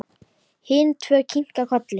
Hin tvö kinka kolli.